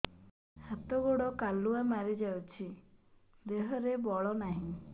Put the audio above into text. ହାତ ଗୋଡ଼ କାଲୁଆ ମାରି ଯାଉଛି ଦେହରେ ବଳ ନାହିଁ